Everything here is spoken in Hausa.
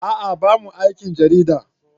A'a bamu aikin jarida.